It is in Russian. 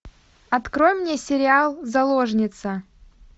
открой мне сериал заложница